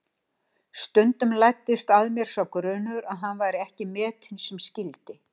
Stundum læddist að mér sá grunur að hann væri ekki metinn sem skyldi.